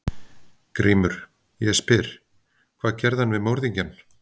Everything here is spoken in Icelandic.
GRÍMUR: Ég spyr: Hvað gerði hann við morðingjann?